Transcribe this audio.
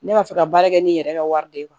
Ne b'a fɛ ka baara kɛ ni n yɛrɛ ka wari de ye